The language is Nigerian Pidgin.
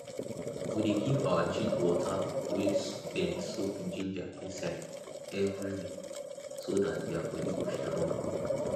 we dey give our chick water wey dem soak ginger inside every week so dat their body go strong